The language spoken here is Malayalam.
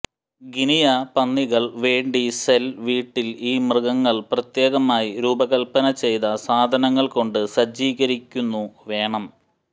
ഗിനിയ പന്നികൾ വേണ്ടി സെൽ വീട്ടിൽ ഈ മൃഗങ്ങൾ പ്രത്യേകമായി രൂപകൽപ്പന ചെയ്ത സാധനങ്ങൾ കൊണ്ട് സജ്ജീകരിച്ചിരിക്കുന്നു വേണം